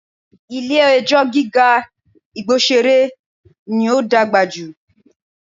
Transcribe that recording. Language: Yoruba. Ilé ẹjọ́ gíga Igbosere ní ó dàgbà jù